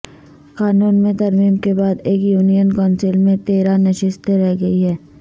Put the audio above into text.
قانون میں ترمیم کے بعد ایک یونین کونسل میں تیرہ نشستیں رہ گئی ہیں